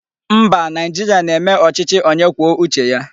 Mba, Naijiria na-eme ochichi onye kwuo uche ya